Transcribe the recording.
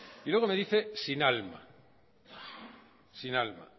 y luego me dice sin alma sin alma